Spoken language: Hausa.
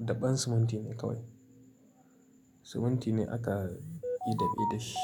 daɓen siminti ne kawai. Siminti ne aka yi dab'i da shi.